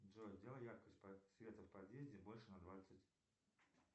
джой сделай яркость света в подъезде больше на двадцать